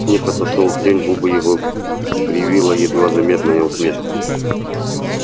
снегг отошёл в тень губы его кривила едва заметная усмешка